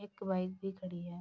एक बाइक भी खड़ी है।